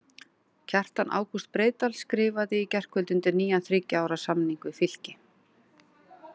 Kjartan Ágúst Breiðdal skrifaði í gærkvöldi undir nýjan þriggja ára samning við Fylki.